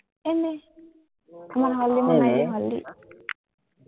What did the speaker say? এনেই আমাৰ হল্দি মনায়, হল্দি